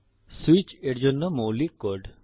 switch এর জন্য মৌলিক কোড